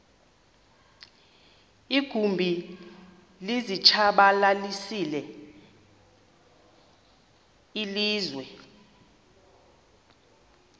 iinkumbi zilitshabalalisile ilizwe